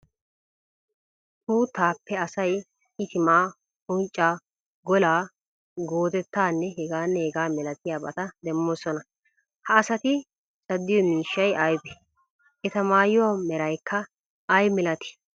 Uuttaappe asay itimaa, unccaa, golaa, goodettanne heganne hega milatiyaabata demmoosona, ha asati caddiyo miishshay aybee? Eta maayuwa meraykka ay malatii?